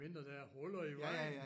Medmindre der er huller i vejen!